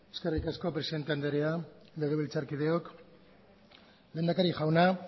eskerrik asko presidente andrea legebiltzarkideok lehendakari jauna